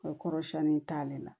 O kɔrɔ siɲɛni t'ale la